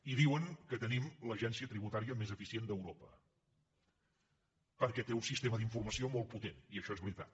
i diuen que tenim l’agència tributària més eficient d’europa perquè té un sistema d’informació molt potent i això és veritat